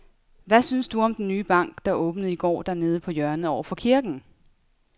Hvad synes du om den nye bank, der åbnede i går dernede på hjørnet over for kirken?